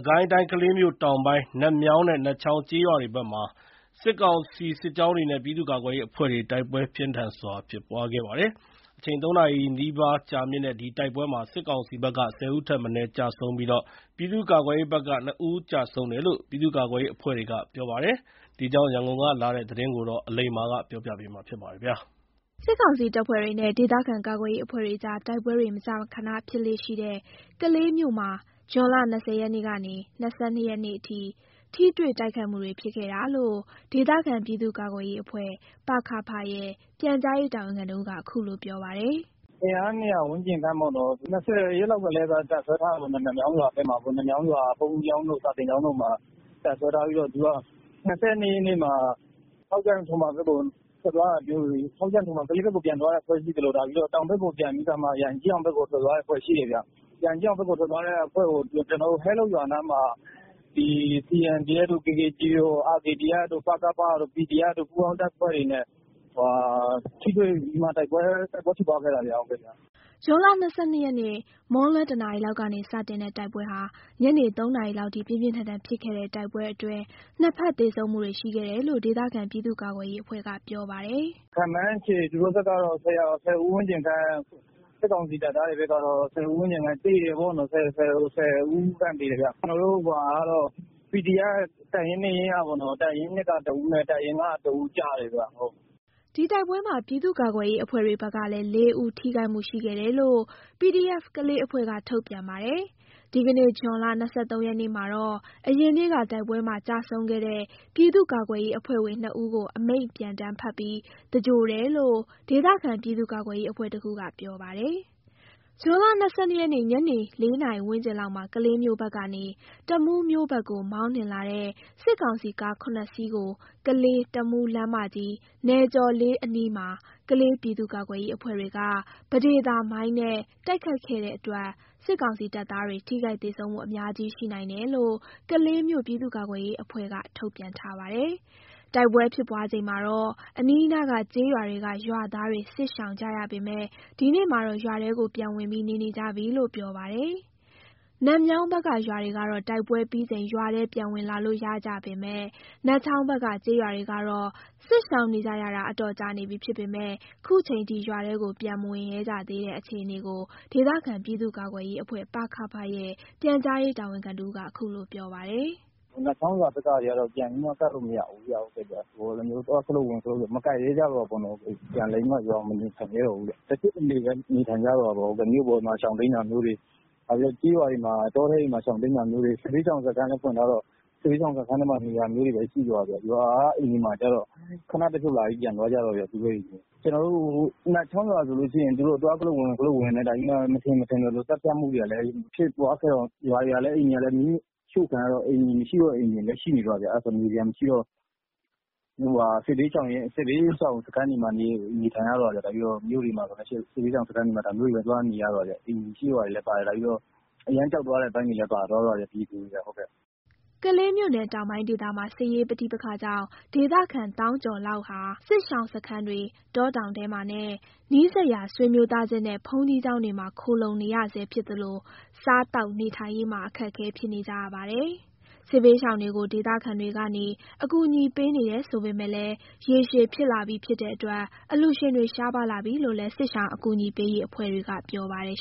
ကိုင်းတိုင်း၊ ကလေးမြို့တောင်ပိုင်း နတ်မြောင်းနဲ့ နတ်ချောင်းကျေးရွာတွေဘက် မှာ စစ်ကောင်စီစစ်ကြောင်းတွေနဲ့ ပြည်သူ့ကာကွယ်ရေးအဖွဲ့တွေ တိုက်ပွဲ ပြင်းထန်စွာ ဖြစ်ပွားခဲ့ပါတယ်။ ၃ နာရီနီးပါး ကြာမြင့်တဲ့ဒီတိုက်ပွဲမှာ စစ်ကောင်စီဘက်က ၁၀ ဦးထက်မနည်း ကျဆုံးပြီးတော့ ပြည်သူ့ကာကွယ်ရေးအဖွဲ့ဘက်က ၂ ဦးကျဆုံးတယ်လို့ ပြည်သူ့ကာကွယ်ရေးအဖွဲ့တွေက ပြောပါတယ်။ ဒီအကြောင်း ရန်ကုန်ကလာတဲ့သတင်းကို အလိမ္မာက တင်ပြပေးထားပါတယ်။ စစ်ကောင်စီတပ်ဖွဲ့တွေနဲ့ ဒေသခံကာကွယ်ရေးအဖွဲ့တွေအကြား တိုက်ပွဲတွေ မကြာခန ဖြစ်ပွားလေ့ရှိတဲ့ကလေးမြို့မှာ ဇွန်လ ၂၀ ရက်ကနေ ၂၂ ရက်နေ့အထိ ထိတွေ့ တိုက်ခိုက်မှုတွေ ဖြစ်ခဲ့တာလို့ ဒေသခံ ပြည်သူ့ကာကွယ်ရေးအဖွဲ့ ပ.က.ဖ ရဲ့ ပြန်ကြားရေးတာဝန်ခံတဦးက ခုလိုပြောပါတယ်။ “အင်အား ၂၀၀ ဝန်းကျင်ခန့်လောက်ပေါ့နှော်၊ ၂၀ ရက်နေ့လောက်ကတည်းက တပ်စွဲထားတာပေါ့၊ နတ်မြောင်းရွာ ဘုန်းကြီးကျောင်းတို့ စာသင်ကျောင်းတို့မှာ တပ်စွဲထားပြီးတော့ ၂၂ ရက်နေ့မှာ ကလေးဘက်ကို ပြန်သွားတဲ့ စစ်ကြောင်းရှိသလို တောင်ဘက်ကို ပြန်ပြီးတော့မှ ရန်ကြီးအောင်ဘက်ကို ထိုးလာတဲ့ တကြောင်းရှိတယ်ဗျ။ ရန်ကြီးအောင်ဘက်ကို ထွက်သွားတဲ့အဖွဲ့ကို ကျနော်တို့ ဟဲလုပ်ရွာနားမှာ CNDFတို့၊ CDFတို့၊ RKDFတို့၊ ပကဖတို့ PDF တို့ ပူးပေါင်းတပ်ဖွဲ့တွေနဲ့ ထိတွေ့ပြီးမှာ တိုက်ပွဲဖြစ်ပွားခဲ့တာဗျ။” ဇွန်လ၂၂ ရက်မွန်းလွဲ ၁ နာရီလောက်ကနေစတင်တဲ့ တိုက်ပွဲဟာ ညနေ ၃ နာရီလောက်ထိ ပြင်းပြင်းထန်ထန် ဖြစ်ခဲ့ပြီး နှစ်ဘက် သေဆုံးမှုတွေ ရှိခဲ့တယ်လို့ ဒေသခံပြည်သူ့ကာကွယ်ရေးအဖွဲ့က ပြောပါတယ်။ “ခန့်မှန်းခြေ သူတို့ဘက်ကတော့ ၁၀ ဦးဝန်းကျင်ခန့် စစ်ကောင်စီဘက်ကပေါ့၊ ၁၀ ဦးခန့် သေတယ်ဗျ။ ကျနော်တို့ PDF တပ်ရင်း ၂ ရင်းကပေါ့နော်၊ တပ်ရင်း ၂ က တဦးနဲ့ နောက်တပ်ရင်းတခုက တဦး ကျတယ်ဗျ။” ဒီတိုက်ပွဲမှာ ပြည်သူ့ကာကွယ်ရေးအဖွဲ့တွေဘက်ကလည်း ၄ ဦး ထိခိုက်မှု ရှိခဲ့တယ်လို့ PDF ကလေး အဖွဲ့က ထုတ်ပြန်ပါတယ်။ ဒီကနေ့ ဇွန်လ ၂၃ ရက်နေ့မှာတော့ အရင်နေ့ကတိုက်ပွဲမှာ ကျဆုံးခဲ့တဲ့ ပြည်သူ့ကာကွယ်ရေးအဖွဲ့ဝင် ၂ ဦးကို အမိန့်ပြန်တမ်းဖတ်ပြီး သဂြိုဟ်တယ်လို့ ဒေသခံ ပြည်သူ့ကာကွယ်ရေး အဖွဲ့တခုက ပြောပါတယ်။ ဇွန် ၂၂ ရက် ညနေ ၄ နာရီဝန်းကျင်လောက်မှာ ကလေးမြို့ဘက်ကနေ တမူးမြို့ ဘက်ကို မောင်းနှင်လာတဲ့ စစ်ကောင်စီကား စီးကို ကလေး-တမူး လမ်းမကြီး နယ်ကျော်လေးအနီးမှာ ကလေးပြည်သူ့ကာကွယ် ရေးအဖွဲ့တွေက ပဒေသာမိုင်းနဲ့ တိုက်ခိုက်ခဲ့တဲ့အတွက် စစ်ကောင်စီတပ်သားတွေ ထိခိုက် သေဆုံးမှု အများကြီး ရှိနိုင်တယ်လို့ ကလေးမြို့ပြည်သူ့ကာကွယ်ရေးအဖွဲ့က ထုန်ပြန်ထားပါတယ်။ တိုက်ပွဲဖြစ်ပွားချိန်မှာတော့ အနီးအနားက ကျေးရွာတွေက ရွာသားတွေ စစ်ရှောင်ကြရပေမယ့် ဒီနေ့မှာတော့ ရွာထဲကိုပြန်ဝင်ပြီး နေနေကြပြီလို့ ပြောပါတယ်။ နတ်မြောင်းဘက်က ရွာတွေကတော့ တိုက်ပွဲပြီးချိန် ရွာထဲ ပြန်ဝင်လာလို့ ရကြပေမယ့် နတ်ချောင်းဘက်က ကျေးရွာတွေကတော့ စစ်ရှောင်နေကြရတာ အတော်ကြာနေပြီဖြစ်ပေမယ့် ခုချိန်ထိရွာထဲကို ပြန်မဝင်ရဲကြသေးတဲ့ အခြေအနေကို ဒေသခံ ပြည်သူ့ကာကွယ်ရေးအဖွဲ့ ပ.က.ဖ ရဲ့ ပြန်ကြားရေးတာဝန်ခံတဦးက ခုလိုပြောပါတယ်။ “နတ်ချောင်းရွာတွေဘက်ကတော့ ပြန်ပြီးတော့ ကပ်လို့မရဘူးဗျ။ သွားရင် ဝင်ဆွဲတတ်တော့ သွားပြီး မကပ်ရဲကြဘူးပေါနှော်။ ပြန်ပြီး ရွာမှာ မနေရဲကြတော့ဘူးဗျ။ တချို့တလေပဲ နေထိုင်ရဲကြတော့တောပေါ့။ မြို့ပေါ်မှာ ရှောင်တိမ်းတာမျိုးတွေ၊ တချို့ကျေးရွာတွေ တောတွေထဲမှာ ရှောင်တိမ်းတာမျိုးတွေ၊ စစ်ဘေးရှောင်စခန်းတွေလဲ ဖွင့်ထားတော့ စစ်ဘေးရှောင်စခန်းတွေမှာပဲ နေကြတော့တာဗျ။ ရွာက အိမ်တွေမှာကျတော့ ခဏတဖြုတ်လာပြီး ပြန်သွားကြတာလောက်ပဲဗျ။ နတ်ချောင်းရွာဘက်က သူတို့ဝင်ချင်သလိုဝင်ပြီး မထင်ရင် မထင်သလို သတ်ဖြတ်မှုတွေကလည်းရှိတော့ ရွာတွေကလည်း အိမ်တွေကလည်း မီးရှို့ခံရတာတွေရှိတော့ နေစရာအိမ်လည်းမရှိတော့ စစ်ရှောင်စခန်းတွေမှာပဲ နေထိုင်ရတော့တာဗျ။ ပြီးတော့ အရမ်းကြောက်သွားတဲ့အပိုင်းလည်း ပါတာပေါ့ဗျ၊ ပြည်သူတွေက။” ကလေးမြို့နယ်တောင်ပိုင်းဒေသမှာ စစ်ရေးပဋိပက္ခကြောင့်ဒေသခံသောင်းကျော်လောက်ဟာ စစ်ရှောင်စခန်းတွေ၊ တောတောင်ထဲမှာနဲ့ နီးစပ်ရာဆွေမျိုးသားခြင်းနဲ့ ဘုန်းကြီးကျောင်းတွေမှာခိုလှုံနေရဆဲဖြစ်သလို စားသောက်နေထိုင်ရေးမှာ အခက်အခဲဖြစ်နေကြပါတယ်။ စစ်ဘေးရှောင်တွေကို ဒေသခံတွေကနေ ကူညီပေးနေတယ်ဆိုပေမဲ့လည်း ရေရှည်ဖြစ်လာပြီဖြစ်တဲ့အတွက် အလှူရှင်တွေ ရှားပါးလာပြီလို့လည်း စစ်ရှောင် ကူညီပေးရေးအဖွဲ့တွေက ပြောပါတယ်